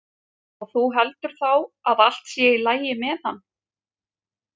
Og þú heldur þá að allt sé í lagi með hann?